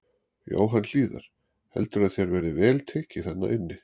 Jóhann Hlíðar: Heldurðu að þér verði vel tekið þarna inni?